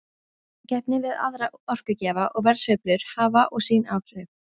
Samkeppni við aðra orkugjafa og verðsveiflur hafa og sín áhrif.